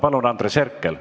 Palun, Andres Herkel!